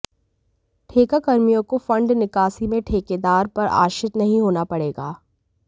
ठेका कर्मियों को फंड निकासी में ठेकेदार पर आश्रित नहीं होना पड़ेगा